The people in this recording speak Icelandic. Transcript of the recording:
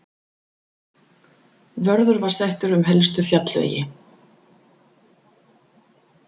Vörður var settur um helstu fjallvegi.